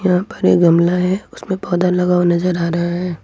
यहां पर ये गमला है उसमें पौधा लगा हुआ नजर आ रहा है।